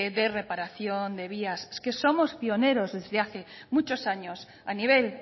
de reparación de vías es que somos pioneros desde hace muchos años a nivel